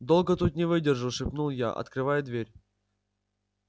долго тут не выдержу шепнул я открывая дверь